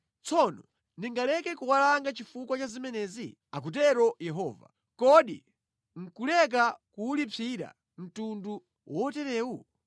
Tsono ndingaleke kuwalanga chifukwa cha zimenezi?” akutero Yehova. “Kodi nʼkuleka kuwulipsira mtundu woterewu?